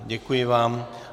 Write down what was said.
Děkuji vám.